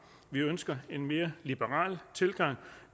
vi ønsker en mere liberal tilgang